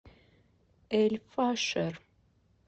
эль фашер